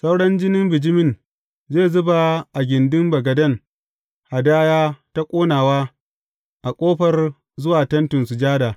Sauran jinin bijimin zai zuba a gindin bagaden hadaya ta ƙonawa a ƙofar zuwa Tentin Sujada.